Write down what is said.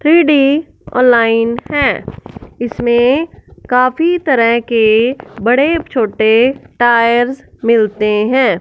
Three D online है इसमें काफी तरह के बड़े छोटे टायर्स मिलते हैं।